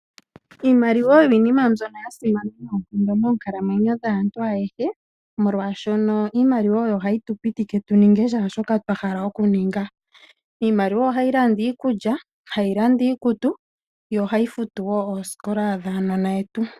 Iimaliwa oyo iinima mbyono ya simana noonkondo moonkalamwenyo dhaantu ayehe, molwashono iimaliwa oyo hayi tu pe tu ninge shaashoka twa hala okuninga. Iimaliwa ohayi landa iikulya, hayi landa iikutu yo ohayi futu wo oosikola dhaanona yetu.